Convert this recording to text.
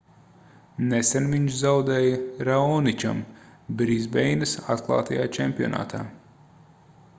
nesen viņš zaudēja raoničam brisbeinas atklātajā čempionātā